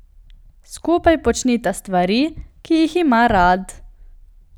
Skupaj počnita stvari, ki jih ima rad.